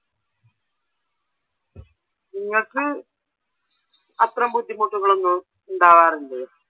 നിങ്ങക്ക് അത്തരം ബുദ്ധിമുട്ടുകളൊന്നും ഉണ്ടാവാറില്ലേ?